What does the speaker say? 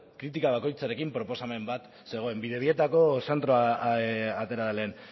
kritika bakoitzarekin proposamen bat zegoen bidebietako zentroa atera da lehen